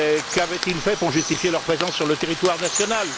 Qu'avaient ils fait pour justifier leur présence sur le territoire national?